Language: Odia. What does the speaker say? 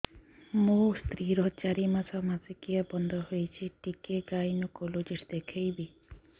ମୋ ସ୍ତ୍ରୀ ର ଚାରି ମାସ ମାସିକିଆ ବନ୍ଦ ହେଇଛି ଟିକେ ଗାଇନେକୋଲୋଜିଷ୍ଟ ଦେଖେଇବି